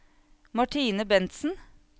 Martine Bentsen